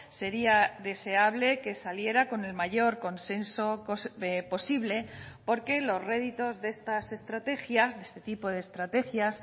sería deseable que saliera con el mayor consenso posible porque los réditos de estas estrategias de este tipo de estrategias